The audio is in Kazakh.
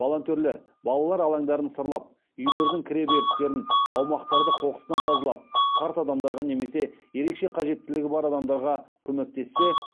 волонтерлер балалар алаңдарын сырлап үйлердің кіре берістерін аумақтарды қоқыстан тазалап қарт адамдарға немесе ерекше қажеттілігі бар